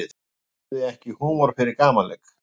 Hafði ekki húmor fyrir gamanleik